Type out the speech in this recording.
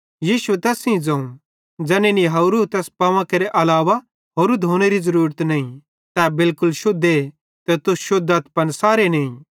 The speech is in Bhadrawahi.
यीशुए तैस सेइं ज़ोवं ज़ैनी निहावरूए तैस पावां केरे अलावा होरू धोनेरू किछ ज़रूरत नईं तै बिलकुल शुद्धे ते तुस शुद्धथ पन सारे नईं